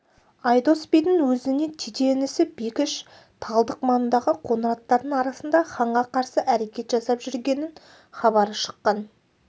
айдос бидің өзіне тете інісі бекіш талдық маңындағы қоңыраттардың арасында ханға қарсы әрекет жасап жүрген хабары шыққан